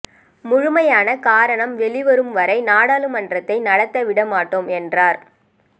முழுமையான காரணம் வெளிவரும் வரை நாடாளுமன்றத்தை நடத்த விட மாட்டோம் என்றார்